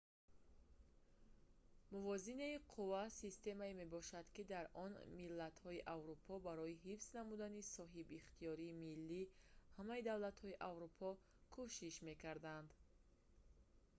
мувозинаи қувва системае мебошад ки дар он миллатҳои аврупо барои ҳифз намудани соҳибихтиёрии миллии ҳамаи давлатҳои аврупо кӯшиш мекарданд